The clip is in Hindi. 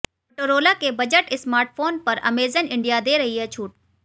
मोटोरोला के बजट स्मार्टफोन पर अमेजन इंडिया दे रही है छूट